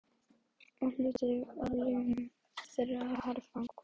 Og hluti af launum þeirra er herfang.